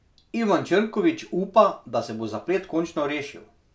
Ivan Črnkovič upa, da se bo zaplet končno rešil.